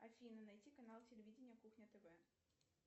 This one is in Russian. афина найти канал телевидения кухня тв